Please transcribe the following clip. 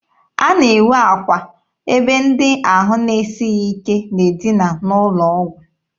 A na-enwe akwa ebe ndị ahụ na-esighị ike na-edina n'ụlọ ọgwụ.